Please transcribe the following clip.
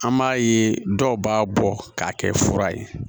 An b'a ye dɔw b'a bɔ k'a kɛ fura ye